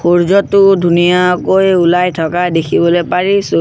সূৰ্য্যটো ধুনীয়াকৈ ওলাই থকা দেখিবলৈ পাৰিছোঁ।